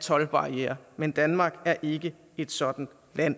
toldbarrierer men danmark er ikke et sådant land